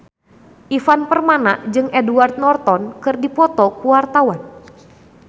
Ivan Permana jeung Edward Norton keur dipoto ku wartawan